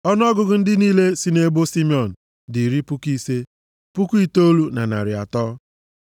Ọnụọgụgụ ndị niile sị nʼebo Simiọn dị iri puku ise, puku itoolu na narị atọ (59,300).